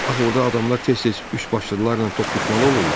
Axı orda adamlar tez-tez üçbaşlılarla toqquşmalı olurlar.